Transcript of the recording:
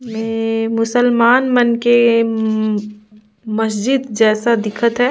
ए अअअ मुस्लमान मन के हम्म मस्जिद जैसा दिखत है।